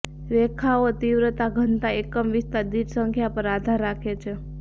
રેખાઓ તીવ્રતા ઘનતા એકમ વિસ્તાર દીઠ સંખ્યા પર આધાર રાખે છે